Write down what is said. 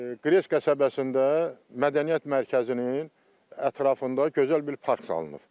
Qres qəsəbəsində mədəniyyət mərkəzinin ətrafında gözəl bir park salınıb.